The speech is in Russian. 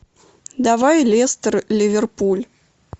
давай лестер ливерпуль